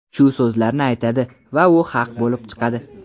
shu so‘zlarni aytadi va u haq bo‘lib chiqadi.